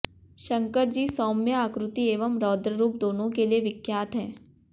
शंकर जी सौम्य आकृति एवं रौद्ररूप दोनों के लिए विख्यात हैं